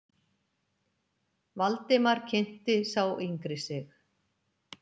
Valdimar kynnti sá yngri sig.